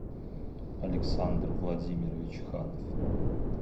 александр владимирович ханов